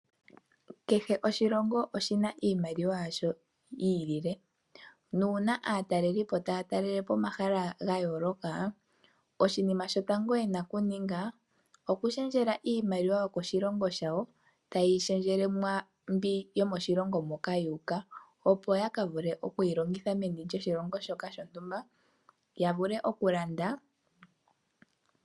Kehe oshilongo oshina iimaliwa yasho yi ilile, nuuna aatalelipo taya talelele po omahala ga yooloka, oshinima shotango yena okuninga okulundulila iimaliwa yokoshilongo shawo. Ta ye yi lundulile mwaambi yomoshilongo moka ya uka opo ya ka vule okuyi longitha meni lyoshilongo shoka shontumba. Ya vule okulanda.